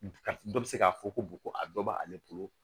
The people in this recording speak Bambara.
Ka dɔ bɛ se k'a fɔ ko ko a dɔ b'ale bolo